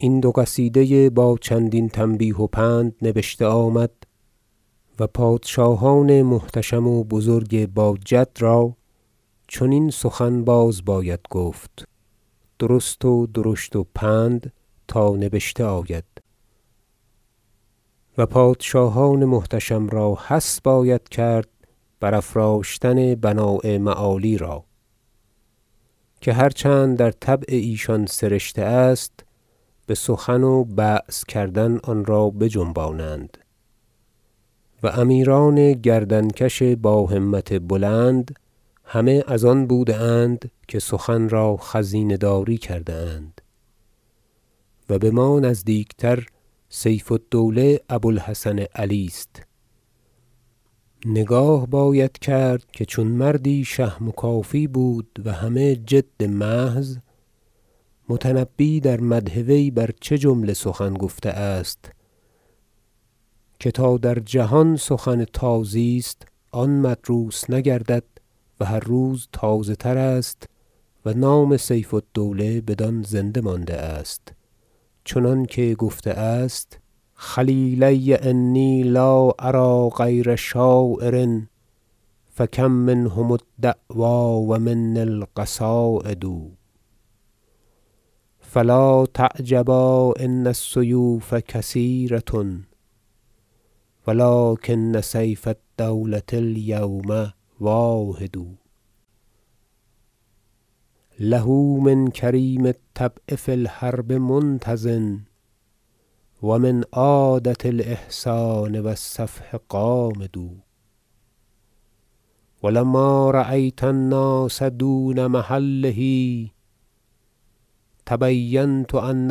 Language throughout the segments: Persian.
این دو قصیده با چندین تنبیه و پند نبشته آمد و پادشاهان محتشم و بزرگ با- جد را چنین سخن بازباید گفت درست و درشت و پند تا نبشته آید و پادشاهان محتشم را حث باید کرد برافراشتن بناء معالی را که هر چند در طبع ایشان سرشته است بسخن و بعث کردن آنرا بجنبانند و امیران گردن کش با همت بلند همه از آن بوده اند که سخن را خزینه داری کرده اند و بما نزدیکتر سیف الدوله ابو الحسن علی است نگاه باید کرد که چون مردی شهم و کافی بود و همه جد محض متنبی در مدح وی بر چه جمله سخن گفته است که تا در جهان سخن تازی است آن مدروس نگردد و هر روز تازه تر است و نام سیف الدوله بدان زنده مانده است چنانکه گفته است شعر خلیلی انی لا أری غیر شاعر فکم منهم الدعوی و منی القصاید فلا تعجبا ان السیوف کثیرة ولکن سیف الدولة الیوم واحد له من کریم الطبع فی الحرب منتض و من عادة الإحسان و الصفح غامد و لما رأیت الناس دون محله تبینت ان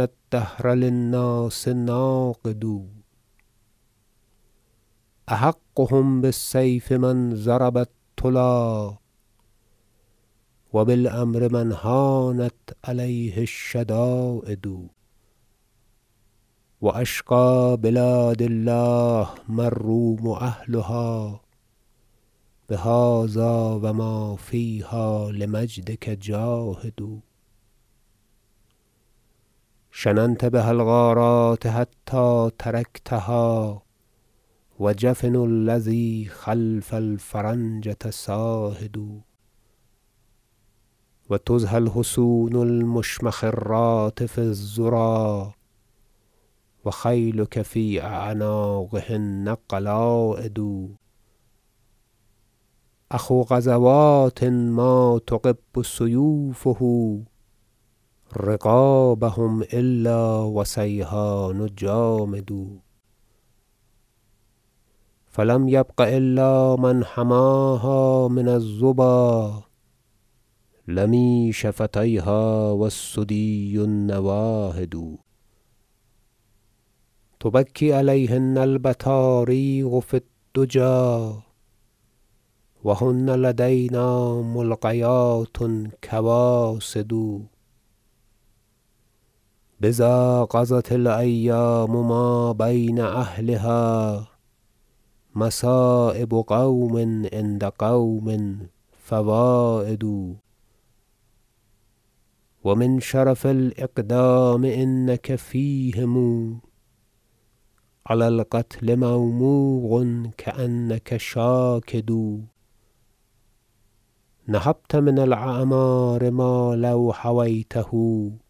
الدهر للناس ناقد احقهم بالسیف من ضرب الطلی و بالأمر من هانت علیه الشداید و اشقی بلاد الله ما الروم اهلها بهذا و ما فیها لمجدک جاهد شننت بها الغارات حتی ترکتها و جفن الذی خلف الفرنجة ساهد و تضحی الحصون المشمخرات فی الذری و خیلک فی اعناقهن قلاید اخو غزوات ما تغب سیوفه رقابهم الا و سیحان جامد فلم یبق الا من حماها من الظبا لمی شفتیها و الثدی النواهد تبکی علیهن البطاریق فی الدجی و هن لدینا ملقیات کواسد بذا قضت الایام ما بین اهلها مصایب قوم عند قوم فواید و من شرف الإقدام انک فیهم علی القتل موموق کأنک شاکد نهبت من الأعمار مالوحویته لهنیت الدنیا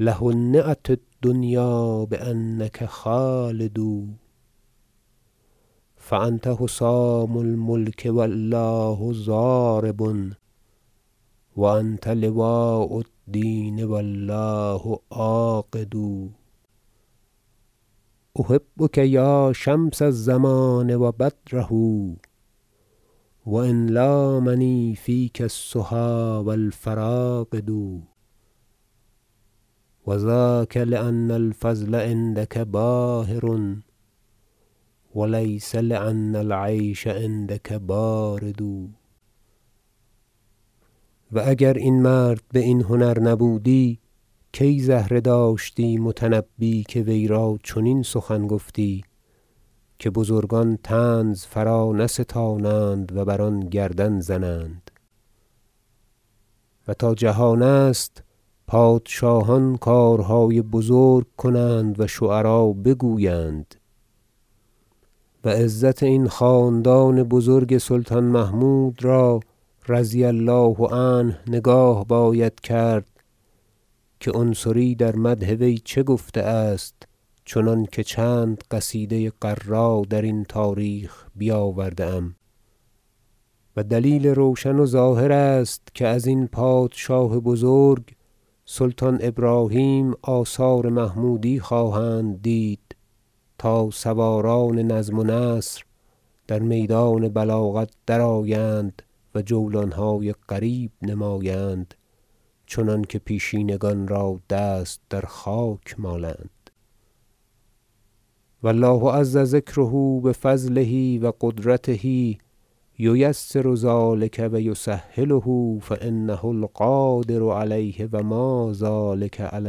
بانک خالد فانت حسام الملک و الله ضارب و انت لواء الدین و الله عاقد احبک یا شمس الزمان و بدره و ان لا منی فیک السها و الفراقد و ذاک لأن الفضل عندک باهر و لیس لأن العیش عندک بارد و اگر این مرد باین هنر نبودی کی زهره داشتی متنبی که ویرا چنین سخن گفتی که بزرگان طنز فرانستانند و بر آن گردن زنند و تا جهان است پادشاهان کار- های بزرگ کنند و شعرا بگویند و عزت این خاندان بزرگ سلطان محمود را رضی الله عنه نگاه باید کرد که عنصری در مدح وی چه گفته است چنانکه چند قصیده غراء وی درین تاریخ بیاورده ام و دلیل روشن و ظاهر است که ازین پادشاه بزرگ سلطان ابراهیم آثار محمودی خواهند دید تا سواران نظم و نثر در میدان بلاغت درآیند و جولانهای غریب نمایند چنانکه پیشینگان را دست در خاک مالند و الله عز ذکره بفضله و قدرته ییسر ذلک و یسهله فانه القادر علیه و ما ذلک علی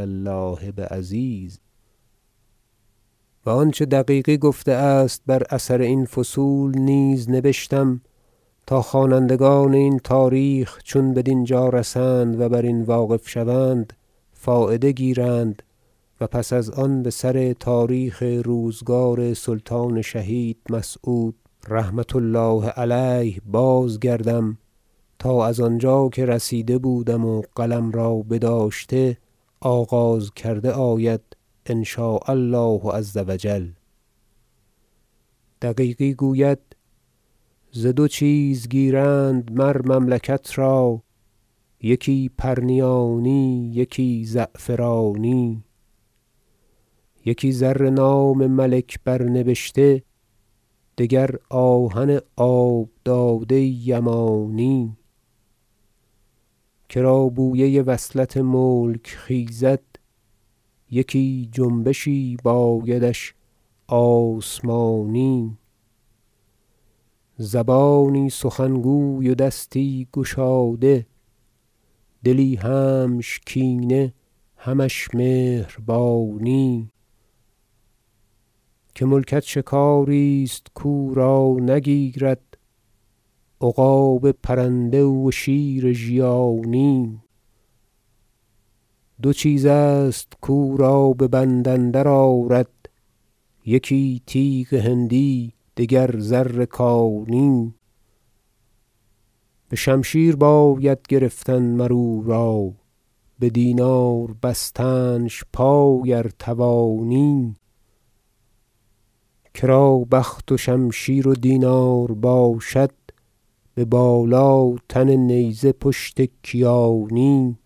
الله بعزیز و آنچه دقیقی گفته است بر اثر این فصول نیز نبشتم تا خوانندگان این تاریخ چون بدینجا رسند و برین واقف شوند فایده گیرند و پس از آن بسر تاریخ روزگار سلطان شهید مسعود رحمة الله علیه بازگردم تا از آنجا که رسیده بودم و قلم را بداشته آغاز کرده آید ان شاء الله عز و جل دقیقی گوید شعر ز دو چیز گیرند مر مملکت را یکی پرنیانی یکی زعفرانی یکی زر نام ملک بر نبشته دگر آهن آب داده یمانی کرا بویه وصلت ملک خیزد یکی جنبشی بایدش آسمانی زبانی سخن گوی و دستی گشاده دلی همش کینه همش مهربانی که ملکت شکاری است کو را نگیرد عقاب پرنده و شیر ژیانی دو چیز است کو را ببند اندر آرد یکی تیغ هندی دگر زر کانی بشمشیر باید گرفتن مر او را بدینار بستنش پای ار توانی کرا بخت و شمشیر و دینار باشد ببالا تن نیزه پشت کیانی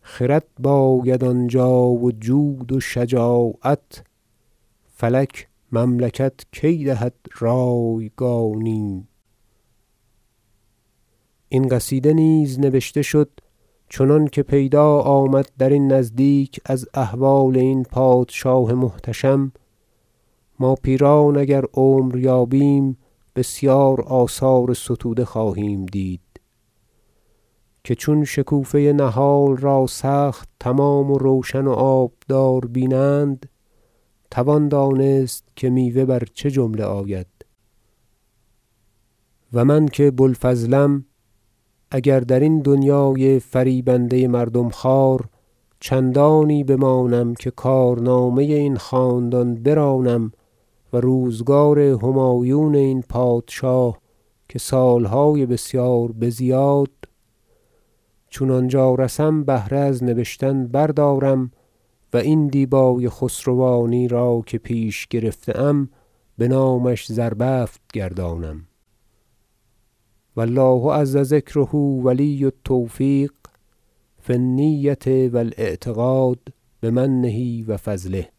خرد باید آنجا و جود و شجاعت فلک مملکت کی دهد رایگانی این قصیده نیز نبشته شد چنانکه پیدا آمد درین نزدیک از احوال این پادشاه محتشم ما پیران اگر عمر یابیم بسیار آثار ستوده خواهیم دید که چون شکوفه نهال را سخت تمام و روشن و آبدار بینند توان دانست که میوه بر چه جمله آید و من که بوالفضلم اگر درین دنیای فریبنده مردم خوار چندانی بمانم که کارنامه این خاندان برانم و روزگار همایون این پادشاه که سالهای بسیار بزیاد چون آنجا رسم بهره از نبشتن بردارم و این دیبای خسروانی که پیش گرفته ام بنامش زربفت گردانم و الله عز ذکره ولی التوفیق فی النیة و الإعتقاد بمنه و فضله